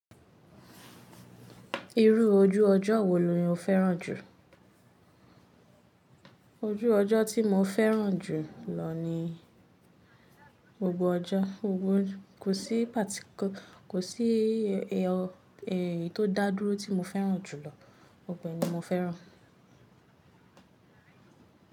Irú ojú ọjọ́ wo ni o fẹ́ràn jù? Ojú ọjọ́ tí mo fẹ́ràn jù lọ ni gbogbo ọjọ́. Kò sí ẹ̀yin tó dá dúró tí mo fẹ́ràn jù lọ. Gbogbo è ni mo fẹ́ràn.